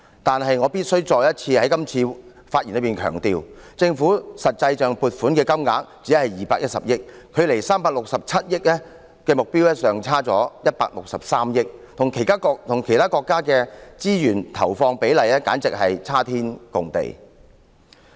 可是，我必須再次在今次發言中強調，政府實際撥款的金額只有210億元，距離367億元的目標尚差了163億元，與其他國家的資源投放比例簡直差天共地。